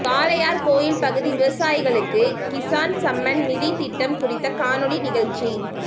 காளையார்கோவில் பகுதி விவசாயிகளுக்கு கிசான் சம்மன் நிதி திட்டம் குறித்த கானொளி நிகழ்ச்சி